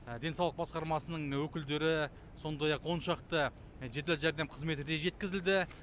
денсаулық басқармасының өкілдері сондай ақ он шақты жедел жәрдем қызметі де жеткізілді